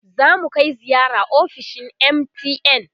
zamu Kai ziyara ofishin MTN